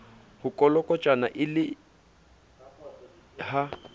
ho kolokotjhana e le ha